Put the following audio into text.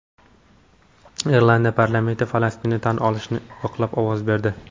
Irlandiya parlamenti Falastinni tan olishni yoqlab ovoz berdi.